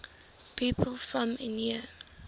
people from eure